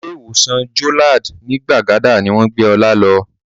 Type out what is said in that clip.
Ilé ìwòsàn Jolad ní Gbàgádà ni wọ́n gbé Ọlá lọ